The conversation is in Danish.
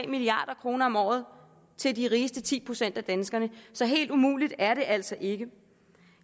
milliard kroner om året til de rigeste ti procent af danskerne så helt umuligt er det altså ikke